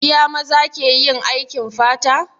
Iya maza ke yin aikin fata?